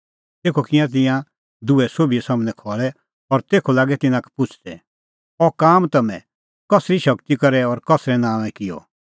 तेखअ किऐ तिंयां दुहै सोभी सम्हनै खल़ै और तेखअ लागै तिन्नां का पुछ़दै अह काम तम्हैं कसरी शगती करै और कसरै नांओंए किअ